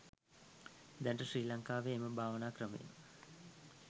දැනට ශ්‍රී ලංකාවෙහි එම භාවනා ක්‍රමය